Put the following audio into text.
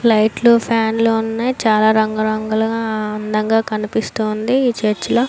లైట్లు ఫ్యాన్లు లు ఉన్నాయ్ చాల రంగు రంగులుగా అందంగా కనిపిస్తుంది ఈ చర్చలో --